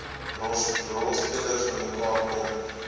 rolspelers bymekaar kom